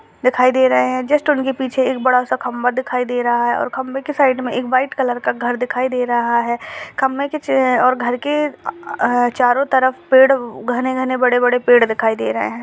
दिखाई दे रहे हैं जस्ट उनके पीछे एक बड़ा सा खंबा दिखाई दे रहा है और खंबे के साइड मे एक व्हाइट कलर का घर दिखाई दे रहा है। खंबे के और घर के आआ चारों तरफ पेड़ घने-घने बड़े-बड़े पेड़ दिखाई दे रहे हैं।